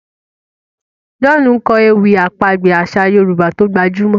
John nkọ ewì àpagbè aṣa yorùbá tó gbajúmò